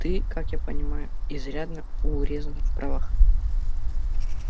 ты как я понимаю изрядно урезан в правах